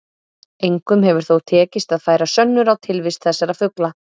Engum hefur þó tekist að færa sönnur á tilvist þessara fugla.